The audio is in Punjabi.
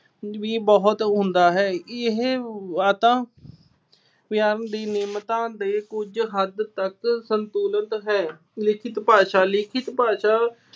ਵੀ ਬਹੁਤ ਹੁੰਦਾ ਹੈ। ਇਹ ਦੀ ਨਿਯਮਤਾ ਦੇ ਕੁਝ ਹੱਦ ਤੱਕ ਸੰਤੁਲਿਤ ਹੈ। ਲਿਖਿਤ ਭਾਸ਼ਾ। ਲਿਖਿਤ ਭਾਸ਼ਾ